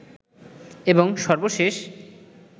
এবং সর্বশেষ